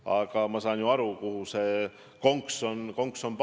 Aga ma saan ju aru, kus siin see konks on.